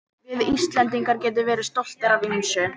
Við Íslendingar getum verið stoltir af ýmsu.